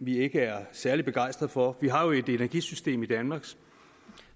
vi ikke er særlig begejstrede for vi har jo et energisystem i danmark